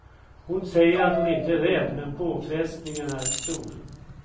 Hon säger att hon inte är rädd, men påfrestningen är stor.